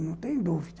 Não tenho dúvida.